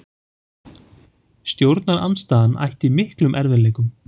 Stjórnarandstaðan ætti í miklum erfiðleikum